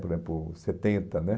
Por exemplo, setenta, né?